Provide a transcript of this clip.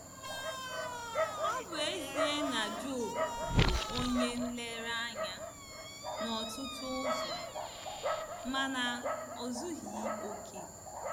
Ọ bụ ezie na Job bụ onye nlereanya n’ọtụtụ ụzọ, mana o zughị ókè.